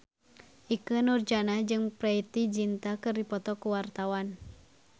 Ikke Nurjanah jeung Preity Zinta keur dipoto ku wartawan